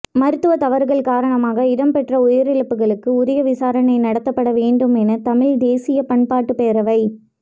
மருத்துவ தவறுகள் காரணமாக இடம்பெற்ற உயிரிழப்புகளுக்கு உரிய விசாரணை நடாத்தப்பட வேண்டும் என தமிழ் தேசிய பண்பாட்டுப் பேரவை